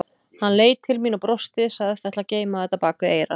Hann leit til mín og brosti, sagðist ætla að geyma þetta bak við eyrað.